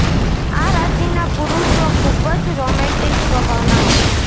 આ રાશિના પુરૂષો ખૂબ જ રોમેંટિક સ્વભાવના હોય છે